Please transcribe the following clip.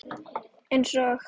Eins og